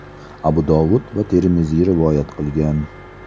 Abu Dovud va Termiziy rivoyat qilgan.